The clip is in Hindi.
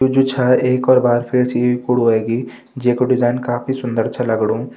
यो जो छा एक और बार फिरसे ये कुडु हुयेगी जेकु डिज़ाइन काफी सुन्दर च लगणु।